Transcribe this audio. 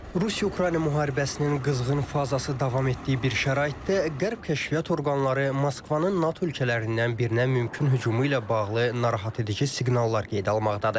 Rusiya-Ukrayna müharibəsinin qızğın fazası davam etdiyi bir şəraitdə Qərb kəşfiyyat orqanları Moskvanın NATO ölkələrindən birinə mümkün hücumu ilə bağlı narahat edici siqnallar qeydə almaqdadır.